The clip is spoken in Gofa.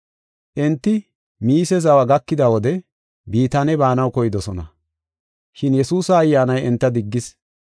Enti Miise zawa gakida wode Bitaane baanaw koydosona. Shin Yesuusa Ayyaanay enta diggis.